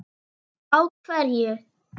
Á hverju?